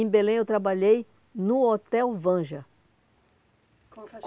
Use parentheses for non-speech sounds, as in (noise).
Em Belém, eu trabalhei no Hotel Vanja. (unintelligible)